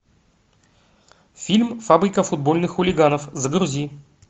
фильм фабрика футбольных хулиганов загрузи